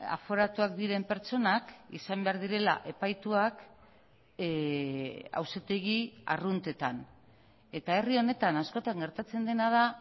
aforatuak diren pertsonak izan behar direla epaituak auzitegi arruntetan eta herri honetan askotan gertatzen dena da